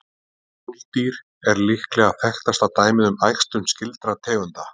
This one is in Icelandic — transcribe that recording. Múldýr er líklega þekktasta dæmið um æxlun skyldra tegunda.